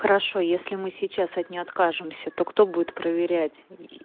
хорошо если мы сейчас от нее откажемся то кто будет проверять и